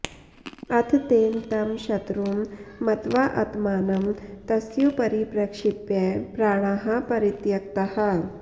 अथ तेन तं शत्रुं मत्वाऽऽत्मानं तस्योपरि प्रक्षिप्य प्राणाः परित्यक्ताः